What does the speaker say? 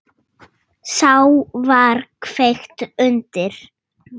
Þá var kveikt undir.